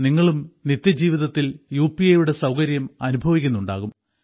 നിങ്ങളും നിത്യജീവിതത്തിൽ U P ഐയുടെ സൌകര്യം അനുഭവിക്കുന്നുണ്ടാകും